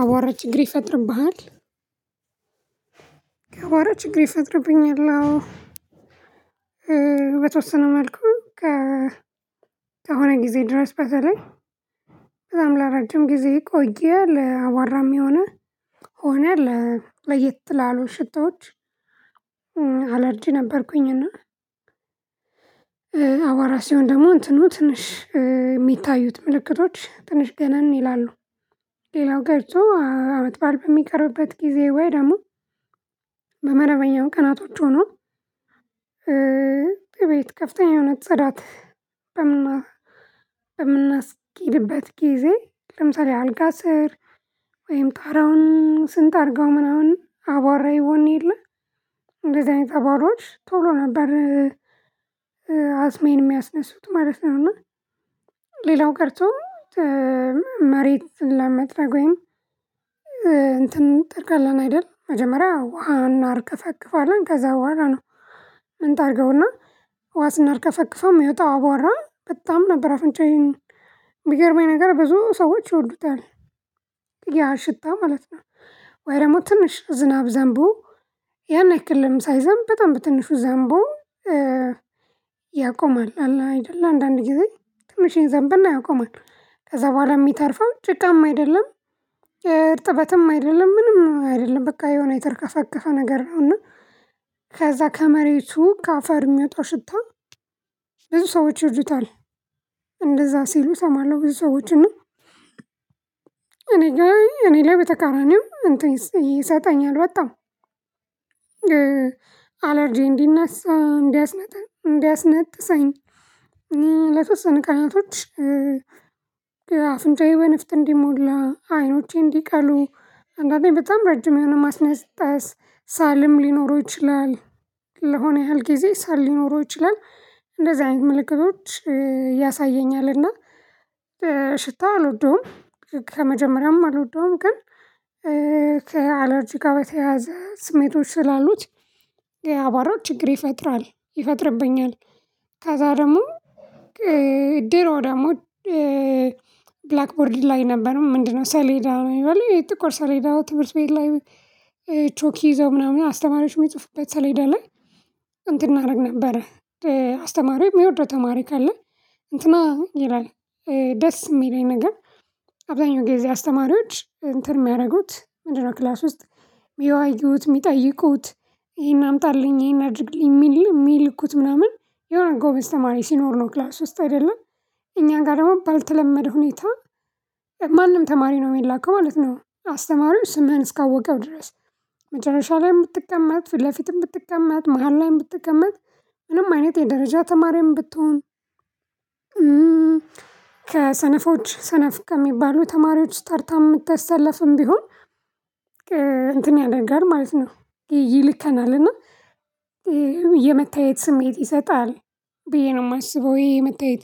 አዋራ ችግር ይፈጥርብሃል? አዋራ ችግር ይፈጥርብኛል። አዎ በተወሰነ መልኩ። ከሆነ ጊዜ ድረስ በተለይ በጣም ለረጅም ጊዜ የቆየ ለአዋራም የሆነ ከሆነ ለየት ላሉ ሽተዎች። አለርጂ ነበርኩኝና ሲሆን ደግሞ እንትኑ ትንሽ የሚታዩት ምልክቶች ትንሽ ገነን ይላሉ። ሌላው ቀሪቶ አመት በዓል በሚቀርብበት ጊዜ ወይ ደግሞ በመደበኛው ቀናቶች ሆኖ። ቤት ከፍተኛ የሆነ ጽዳት በምና የምናስኬድበት ጊዜ ለምሳሌ አልጋ ስር ወይም ጣራውን ስንጠርገው ምናምን አባራ ይቦን የለ እንደዚህ አይነት አባራዎች ቶሎ ነበር። አስሜን የሚያስነሱት ማለት ነው። እና ሌላው ቀርቶ መሬት ለመጥረግ ወይም እንትን እንተርጋለን አይደል? መጀመሪያ ውሃን አርከፈክፋለን ከዛ በኋላ ነው። ምንጠርገውና ውሃ ስናርከፈክፈው የሚወጣው አዋራ በጣም ነበር አፍንጫዬን የሚገርመኝ ነገር ብዙ ሰዎች ይወዱታል። ያ ሽታ ማለት ነው። ወይ ደግሞ ትንሽ ዝናብ ዘንቦ ያን ያክልም ሳይዘም በጣም በትንሹ ዘንቦ። ያቆማል አላ አይደለ አንዳንዴ ጊዜ ትንሽ ይዘንብና ያቆማል ከዛ በኋላ የሚተርፈው ጭቃማ አይደለም። እርጥበትም አይደለም ምንም አይደለም በቃ የሆነ የተርከፈከፈ ነገር ነው። እና ከዛ ከመሬቱ ከአፈር የሚወጣ ሽታ ብዙ ሰዎች ይወዱታል። እንደዛ ሲሉ እሰማለሁ ብዙ ሰዎችን እና። እኔ ጋር እኔ ላይ በተቃራኒው እንትን ይሰጣኛል በጣም አለርጄ እንዲነሳ እንዲያስነጥሰኝ። ለተወሰነ ቃናቶች አፍንጫዬ በንፍጥ እንዲሞላ አይኖቼ እንዲቀሉ አንዳንዴ በጣም ረጅም የሆነ ማስነጠስ ሳልም ሊኖረው ይችላል። ለሆነ ያህል ጊዜ ሳል ሊኖረው ይችላል። እንደዚህ አይነት ምልክቶች ያሳየኛልና። ሽታ አልወደውም። ከመጀመሪያም አልወደውም ግን ከአለርጂ ጋር በተያያዘ ስሜቶች ስላሉት የአቧራ ችግር ይፈጥራል ይፈጥርብኛል። ከዛ ደግሞ። ድሮ ደግሞ። ብላክቦርድ ላይ ነበር ምንድነው? ሰሌዳ የሚባለው ጥቁር ሰሌዳ ትምህርት ቤት ላይ። ቾክ ይዘው ምናምን አስተማሪዎች የሚጽፉበት ሰሌዳ ላይ እንትን እናደርግ ነበር። አስተማሪው የሚወደው ተማሪ ካለ እንትና ይላል። ደስ የሚለኝ ነገር። አብዛኛው ጊዜ አስተማሪዎች እንትን የሚያደርጉት ምንድ ነው? ክላስ ውስጥ የሚያወዩት የሚጠይቁት ይሄን አምጣልኝ ይሄን አድርግልኝ የሚል የሚልኩት ምናምን የሆነ ጎበዝ ተማሪ ሲኖር ነው ክላስ ውስጥ አይደለም። እኛ ጋር ደግሞ ባልተለመደ ሁኔታ ማንም ተማሪ ነው የሚላከው ማለት ነው። አስተማሪውን ስምህን እስካወቀው ድረስ መጨረሻ ላይ የምትቀመጥ ፊት ለፊትም ብትቀመጥ መሃል ላይም ብትቀመጥ ምንም አይነት የደረጃ ተማሪም ብትሆን። ከሰነፎች ሰነፍ ከሚባሉ ተማሪዎች ታርታ የምታሳልፍም ቢሆን። እንትን ያደርጋል ማለት ነው። ይልከናል እና። የመታየት ስሜት ይሰጣል። ብዬ ነው የማስበው ይሄ መታየት።